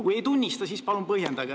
Kui ei tunnista, siis palun põhjendage.